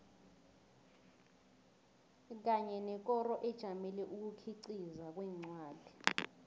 kanye nekoro ejamele ukukhiqiza kwencwadi